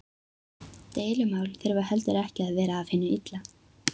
Deilumál þurfa heldur ekki að vera af hinu illa.